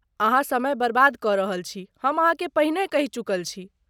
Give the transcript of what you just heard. अहाँ समय बर्बाद कऽ रहल छी,, हम अहाँकेँ पहिने कहि चुकल छी।।